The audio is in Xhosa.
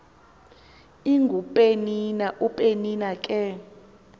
ingupenina upenina ke